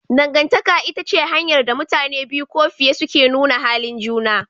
Dangantaka ita ce hanyar da mutane biyu ko fiye suke nuna halin juna.